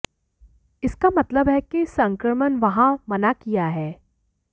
इसका मतलब है कि संक्रमण वहाँ मना किया है